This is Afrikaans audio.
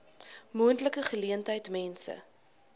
moontlike geleentheid mense